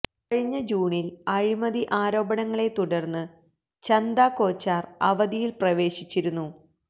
കഴിഞ്ഞ ജൂണില് അഴിമതി ആരോപണങ്ങളെ തുടര്ന്ന് ചന്ദ കോച്ചാര് അവധിയില് പ്രവേശിച്ചിരുന്നു